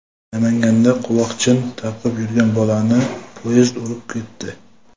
Namanganda quloqchin taqib yurgan bolani poyezd urib ketdi.